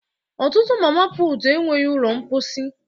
Ọtụtụ Mama putu enweghị ụlọ mposi